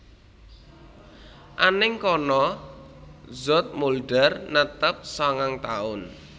Anèng kana Zoetmulder netep sangang taun